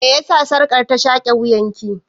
Me yasa sarƙar ta shaƙe wuyan ki?